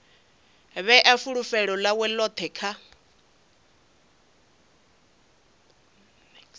vhea fulufhelo ḽawe ḽoṱhe kha